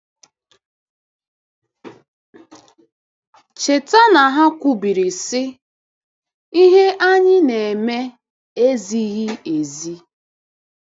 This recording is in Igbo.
Cheta na ha kwubiri, sị: “Ihe anyị na-eme ezighị ezi.”